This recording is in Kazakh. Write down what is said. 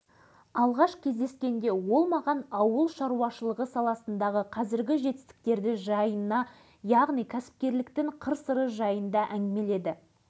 оны аз десең спортшыға тән өз үкімін шығарады біреулер мұны ұр да жық адамның ақымақтығына балауы мүмкін осының